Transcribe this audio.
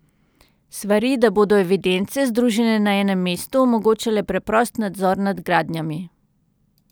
Svari, da bodo evidence, združene na enem mestu, omogočale preprost nadzor nad gradnjami.